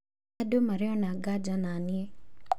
Andũ marĩ ona nganja naniĩ